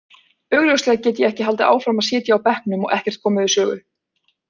Augljóslega get ég ekki haldið áfram að sitja á bekknum og ekkert komið við sögu.